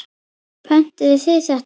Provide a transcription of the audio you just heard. Pöntuðu þið þetta?